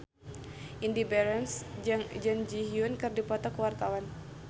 Indy Barens jeung Jun Ji Hyun keur dipoto ku wartawan